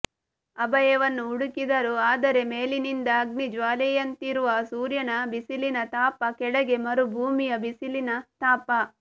ಅಭಯವನ್ನು ಹುಡುಕಿದರು ಆದರೆ ಮೇಲಿನಿಂದ ಅಗ್ನಿಜ್ವಾಲೆಯಂತಿರುವ ಸೂರ್ಯನ ಬಿಸಿಲಿನ ತಾಪ ಕೆಳಗೆ ಮರುಭೂಮಿಯ ಬಿಸಿಲಿನ ತಾಪ